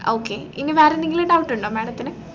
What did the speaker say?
okay ഇനി വേറെന്തെങ്കിലും doubt ഉണ്ടോ madam ത്തിനു